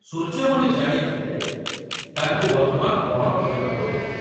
ସୂର୍ଯ୍ୟମଣି ଜାଣିଥିଲେ ତାଙ୍କୁ ବର୍ତ୍ତମାନ କଣ କରିବାକୁ ହେବ।